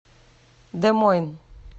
де мойн